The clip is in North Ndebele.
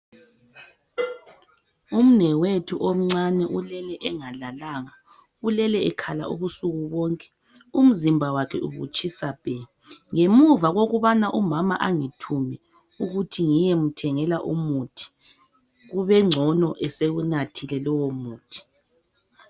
Umnewethu omncane ulele engalalanga. Ulele ekhala ubusuku bonke, umzimba wakhe ubutshisa bhe. Ngemuva kokubana umama angithume ukuthi ngiyemthengela umuthi. Kube ngcono esewunathile lowomuthi.